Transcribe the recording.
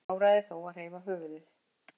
Áræði þó að hreyfa höfuðið.